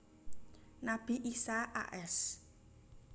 Nabi Isa a s